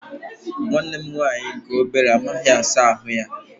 Nwanne m nwaanyị nke obere amaghị asa ahụ ya.